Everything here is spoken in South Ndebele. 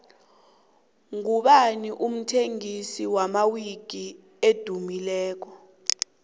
ngubani umthengisi wamawiki edumileko